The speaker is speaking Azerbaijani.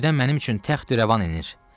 Göydən mənim üçün təxt irəvan enir.